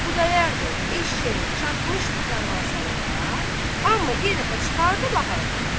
Xudayar bəy eşşəyi çatmışdı karvansaraya, amma yenə çıxardıb apardı.